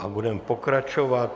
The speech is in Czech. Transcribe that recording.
A budeme pokračovat.